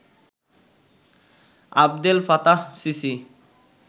Abdel Fattah CC